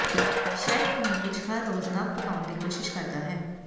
chef ਨੂੰ ਕੁਝ ਹਰ ਰੋਜ਼ ਨਵ ਪਕਾਉਣ ਦੀ ਕੋਸ਼ਿਸ਼ ਕਰਦਾ ਹੈ